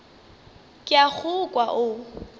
ke a go kwa o